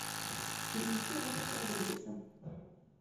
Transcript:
фильмецы роберта родригеса